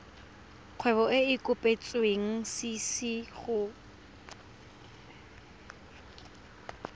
kgwebo e e kopetswengcc go